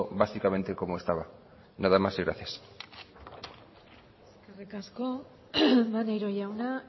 básicamente como estaba nada más y gracias eskerrik asko maneiro jauna